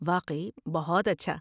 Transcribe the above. واقعی، بہت اچھا۔